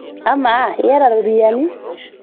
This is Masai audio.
Amaa iyata ropiyiani?